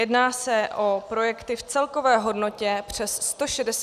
Jedná se o projekty v celkové hodnotě přes 161 milionů korun.